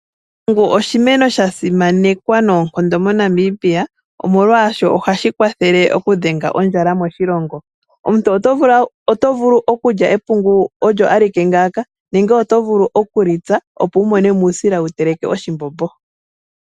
Epungu oshimeno sha simanekwa noonkondo moNamibia, molwashoka ohashi kwathele okudhenga ondjala moshilongo. Omuntu otovulu okulya epungu olyo alike nenge oto vulu okulitsa opo wu mone mo uusila wu teleke oshimbombo .